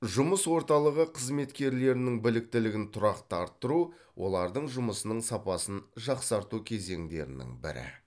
жұмыс орталығы қызметкерлерінің біліктілігін тұрақты арттыру олардың жұмысының сапасын жақсарту кезеңдерінің бірі